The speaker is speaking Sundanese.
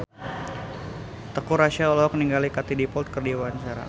Teuku Rassya olohok ningali Katie Dippold keur diwawancara